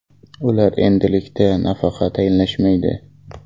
Ular endilikda nafaqa tayinlashmaydi.